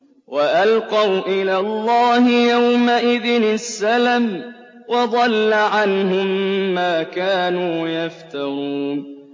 وَأَلْقَوْا إِلَى اللَّهِ يَوْمَئِذٍ السَّلَمَ ۖ وَضَلَّ عَنْهُم مَّا كَانُوا يَفْتَرُونَ